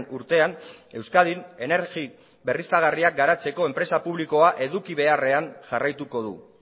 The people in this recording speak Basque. urtean euskadin energi berriztagarriak garatzeko enpresa publikoa eduki beharrean jarraituko du